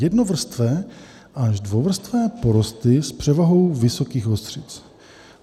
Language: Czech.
Jednovrstvé až dvouvrstvé porosty s převahou vysokých ostřic.